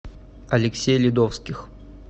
алексей ледовских